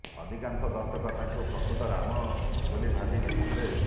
ଅଧିକାଂଶ ଦର୍ଶକ ତାଙ୍କୁ ପ୍ରକୃତ ରାମ ବୋଲି ଭାବି ନେଇଥିଲେ